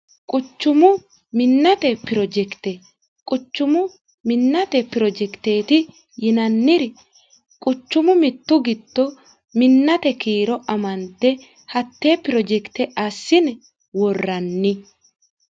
Quchumu minate project ,quchumu minnate projecteti yinanniri quchumu mitu giddo minnate kiiro amande hatte project assine worranni.